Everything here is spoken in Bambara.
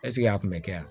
a kun bɛ kɛ yan